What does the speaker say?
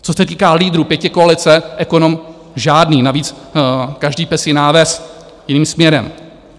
Co se týká lídrů pětikoalice, ekonom žádný, navíc každý pes, jiná ves, jiným směrem.